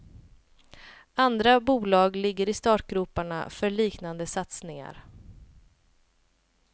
Andra bolag ligger i startgroparna för liknande satsningar.